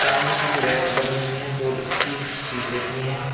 सामने कुछ रैक बनी हुई हैं जो कि शीशे की हैं।